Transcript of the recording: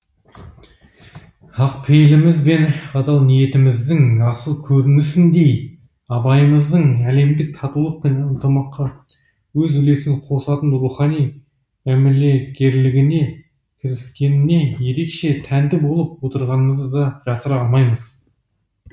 ақ пейіліміз бен адал ниетіміздің асыл көрінісіндей абайымыздың әлемдік татулық пен ынтымаққа өз үлесін косатын рухани мәмілегерлігіне кіріскеніне ерекше тәнті болып отырғанымызды да жасыра алмаймыз